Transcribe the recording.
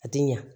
A ti ɲa